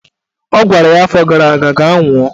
Ọ gwara ya afọ gara aga "Gaa nwụọ!